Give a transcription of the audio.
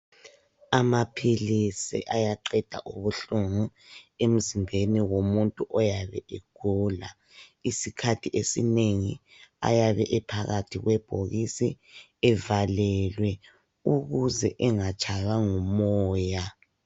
Amaphilisi ayaqeda ubuhlungu emzimbeni womuntu oyabe egula. Isikhathi esinengi ayabe ephakathi kwebhokisi evalelwe ukuze engatshaywa ngumoya.